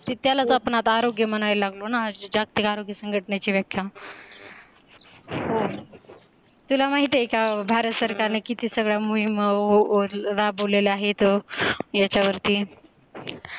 की त्यालाच आपण आता आरोग्य म्हणाय लागलो ना जागतीक आरोग्य सांगटनेचे व्याख्य हो तुला माहित आहे का भारत सरकारने किती सगळ्या मऊहीम राबवलेल्या आहेत याच्या वरती